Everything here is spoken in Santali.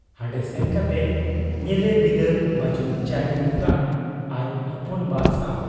ᱦᱟᱱᱰᱮ ᱥᱮᱱ ᱠᱟᱛᱮ ᱧᱮᱞᱮ ᱵᱤᱫᱟᱹᱞ ᱵᱟᱹᱡᱩᱱ ᱪᱟᱭ ᱧᱩᱧᱩᱠᱟᱱ ᱟᱡ ᱦᱚᱯᱚᱱ ᱵᱟ ᱥᱟᱶ ᱾